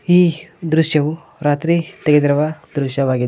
ಈ ದೃಶ್ಯವು ರಾತ್ರಿ ತೆಗೆದಿರುವ ದೃಶ್ಯವಾಗಿದೆ.